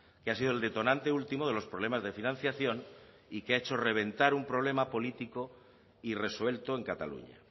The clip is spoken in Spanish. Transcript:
que ha sido el detonante último de los problemas de financiación y que ha hecho reventar un problema político y resuelto en cataluña